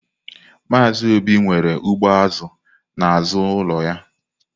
Maazị Obi nwere ugbo azụ n'azụ ụlọ ya.